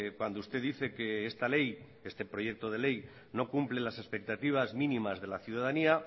cuando usted dice que esta ley este proyecto de ley no cumple las expectativas mínimas de la ciudadanía